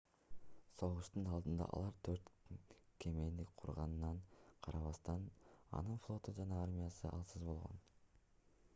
согуштун алдында алар төрт кемени курганына карабастан анын флоту жана армиясы алсыз болгон